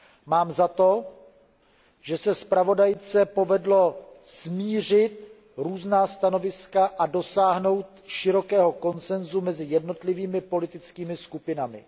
Mám za to, že se zpravodajce povedlo smířit různá stanoviska a dosáhnout širokého konsenzu mezi jednotlivými politickými skupinami.